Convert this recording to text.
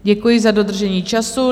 Děkuji za dodržení času.